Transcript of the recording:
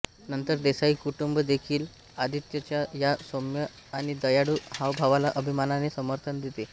नंतर देसाई कुटुंब देखील आदित्यच्या या सौम्य आणि दयाळू हावभावाला अभिमानाने समर्थन देते